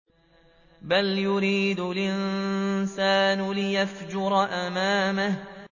بَلْ يُرِيدُ الْإِنسَانُ لِيَفْجُرَ أَمَامَهُ